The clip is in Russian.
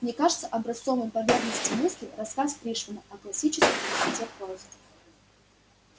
мне кажется образцовым по верности мысли рассказ пришвина о классической простоте прозы